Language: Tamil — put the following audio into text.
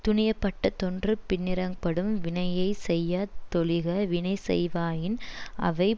துணியப்பட்ட தோன்று பின்னிரங்ப்படும் வினையை செய்யா தொழிக வினைசெய்வாயின் அவை